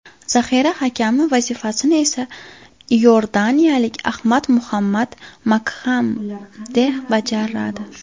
Zaxira hakami vazifasini esa iordaniyalik Adham Muhammad Makxamdeh bajaradi.